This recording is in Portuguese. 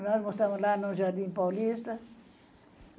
Nós morávamos lá no Jardim Paulista.